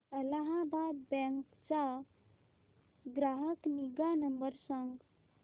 Allahabad bank चा ग्राहक निगा नंबर सांगा